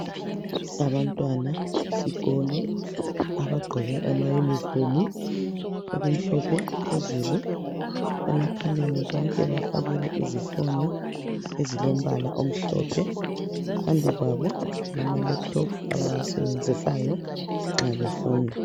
Abantwana besikolo abagqoke amayunifomu okumhlophe phezulu. Emakhaleni bonke bafakile izifonyo ezilombala omhlophe. Phambi kwabo kulama lephuthophu abawasebenzisayo nxa befunda.